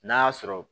N'a y'a sɔrɔ